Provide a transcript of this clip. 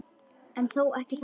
En þó ekki þannig.